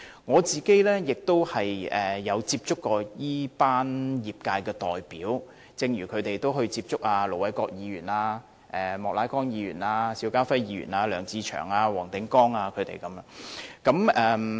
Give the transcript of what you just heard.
我也曾接觸這群業界代表，正如他們也曾接觸盧偉國議員、莫乃光議員、邵家輝議員、梁志祥議員和黃定光議員。